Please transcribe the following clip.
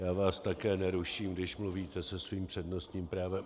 Já vás také neruším, když mluvíte se svým přednostním právem.